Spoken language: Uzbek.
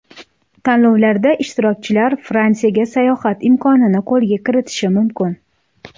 Tanlovlarda ishtirokchilar Fransiyaga sayohat imkonini qo‘lga kiritishi mumkin.